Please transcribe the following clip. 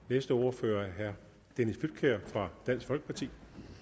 næste ordfører er herre dennis flydtkjær fra dansk folkeparti